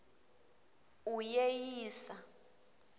uyeyisa